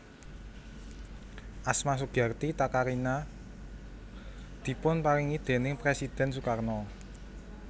Asma Sugiarti Takarina dipun paringi déning Presidhèn Sukarno